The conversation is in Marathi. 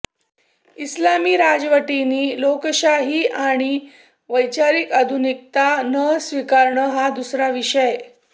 इस्लामी राजवटींनी लोकशाही आणि वैचारिक आधुनिकता न स्वीकारणं हा दुसरा विषय